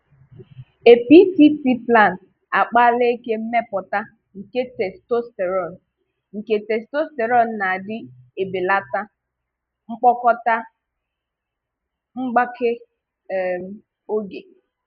A PCT plan-akpali eke mmèpọ̀tà nke testosterone nke testosterone na adị ebelàtà mkpokọta mgbàké um oge.